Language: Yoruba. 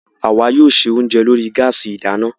Àwa yóò ṣe oúnjẹ lórí gáàsì ìdáná